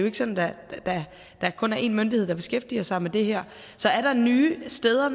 ikke sådan at der kun er én myndighed der beskæftiger sig med det her så er der nye steder